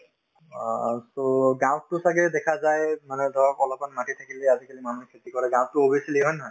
অ, so গাঁৱতো ছাগে দেখা যায় মানে ধৰক অলপমান মাটিত খেতি কৰি আজিকালি মানুহে খেতি কৰে গাঁৱতো হয় নে নহয়